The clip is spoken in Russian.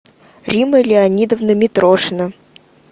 римма леонидовна митрошина